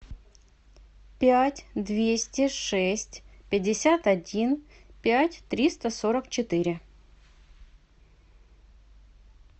пять двести шесть пятьдесят один пять триста сорок четыре